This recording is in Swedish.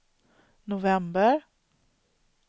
november